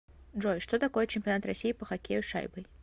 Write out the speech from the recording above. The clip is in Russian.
джой что такое чемпионат россии по хоккею с шайбой